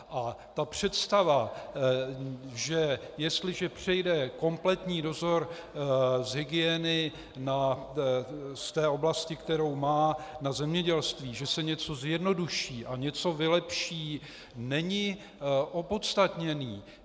A ta představa, že jestliže přejde kompletní dozor z hygieny z té oblasti, kterou má, na zemědělství, že se něco zjednoduší a něco vylepší, není opodstatněná.